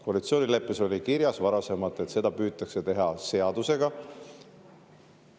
Koalitsioonileppes oli kirjas varasemalt, et seda püütakse teha seadusega.